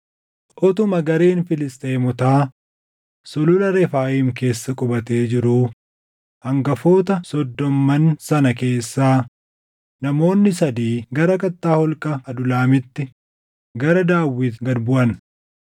Utuma gareen Filisxeemotaa Sulula Refaayim keessa qubatee jiruu hangafoota soddomman sana keessaa namoonni sadii gara kattaa holqa Adulaamitti gara Daawit gad buʼan.